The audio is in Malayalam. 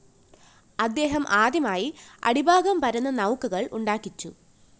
അദ്ദേഹം ആദ്യമായി അടിഭാഗം പരന്ന നൗകകള്‍ ഉണ്ടാക്കിച്ചു